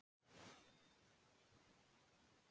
Þetta sé þó ekkert stórmál.